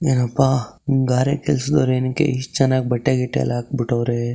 ಎಪ್ಪ ಗಾರೆ ಕೆಲಸದವರೆಲ್ಲ ಏನಕ್ಕೆ ಎಸ್ಟ್ ಚೆನ್ನಾಗಿ ಬಟ್ಟೆ ಗಿಟ್ಟೆ ಎಲ್ಲ ಹಖ್ಬಿಟ್ಟವ್ರೆ.